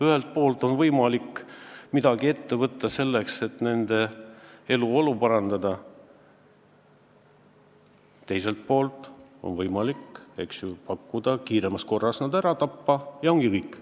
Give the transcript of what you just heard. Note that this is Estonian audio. Ühelt poolt on võimalik midagi ette võtta, et nende eluolu parandada, teiselt poolt on võimalik pakkuda, et nad kiiremas korras ära tappa, ja ongi kõik.